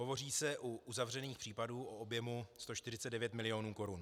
Hovoří se u uzavřených případů o objemu 149 mil. korun.